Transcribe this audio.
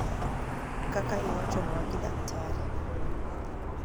Kaka Iwachoniwa gi Dakt.